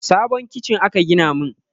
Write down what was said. Sabon kicin aka gina min